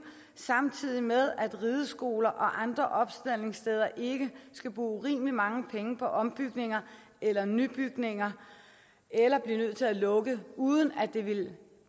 samtidig med at rideskoler og andre opstaldningssteder ikke skal bruge urimelig mange penge på ombygninger eller nybygninger eller blive nødt til at lukke uden at det ville